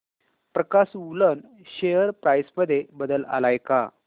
प्रकाश woollen share price मध्ये बदल आलाय का